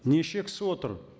неше кісі отыр